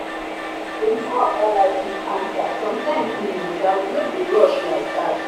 oyinbo oga like quick answer sometimes in naija we no dey rush like that.